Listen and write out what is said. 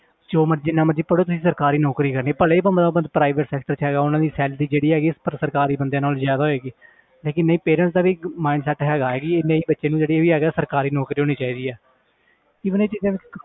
ਜੋ ਮਰਜ਼ੀ ਜਿੰਨਾ ਮਰਜ਼ੀ ਪੜ੍ਹੋ ਤੁਸੀਂ ਸਰਕਾਰੀ ਨੌਕਰੀ ਕਰਨੀ ਹੈ ਭਲੇ ਹੀ private sector 'ਚ ਹੈਗਾ ਉਹਨਾਂ ਦੀ salary ਜਿਹੜੀ ਹੈਗੀ ਸਰਕਾਰੀ ਬੰਦਿਆਂ ਨਾਲੋਂ ਜ਼ਿਆਦਾ ਹੋਏਗੀ ਲੇਕਿੰਨ ਨਹੀਂ parents ਦਾ ਵੀ ਇੱਕ mind set ਹੈਗਾ ਕਿ ਨਹੀਂ ਬੱਚੇ ਜਿਹੜੀ ਵੀ ਹੈਗਾ ਸਰਕਾਰੀ ਨੌਕਰੀ ਹੋਣੀ ਚਾਹੀਦੀ ਹੈ even ਇਹ ਚੀਜ਼ਾਂ